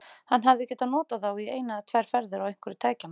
Hann hefði getað notað þá í eina eða tvær ferðir á einhverju tækjanna.